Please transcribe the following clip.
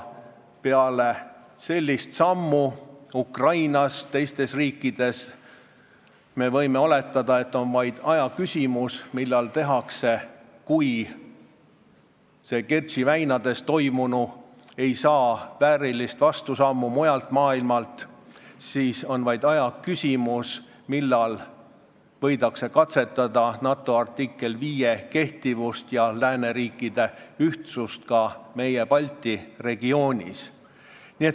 Kui Kertši väinas toimunu ei saa väärilist vastusammu mujalt maailmast, siis on vaid ajaküsimus, millal võidakse katsetada NATO artikli 5 kehtivust ja lääneriikide ühtsust ka meie, Balti regioonis.